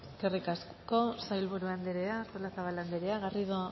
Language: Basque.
eskerrik asko sailburu anderea artolazabal anderea garrido